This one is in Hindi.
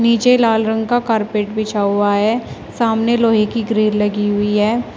नीचे लाल रंग का कारपेट बिछा हुआ है सामने लोहे की ग्रिड लगी हुई है।